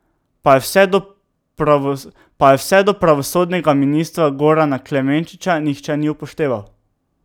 Pa je vse do pravosodnega ministra Gorana Klemenčiča nihče ni upošteval.